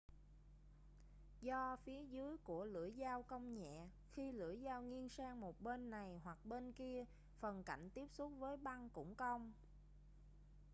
do phía dưới của lưỡi dao cong nhẹ khi lưỡi dao nghiêng sang một bên này hoặc bên kia phần cạnh tiếp xúc với băng cũng cong